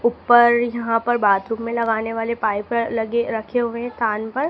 ऊपर यहां पर बाथरूम में लगाने वाले पाइप लगे रखे हुए हैं स्थान पर।